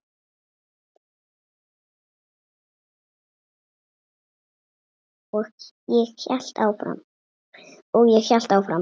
Og ég hélt áfram.